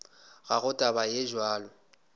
ga go taba ye bjalo